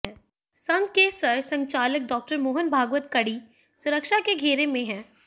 संघ के सर संघचालक डॉक्टर मोहन भागवत कड़ी सुरक्षा के घेरे में हैं